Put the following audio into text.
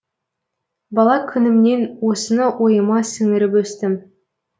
бала күнімнен осыны ойыма сіңіріп өстім